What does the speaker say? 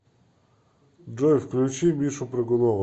джой включи мишу прыгунова